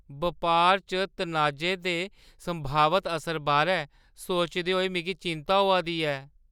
बपार च तनाजे दे संभावत असर बारै सोचदे होई मिगी चिंता होआ दी ऐ ।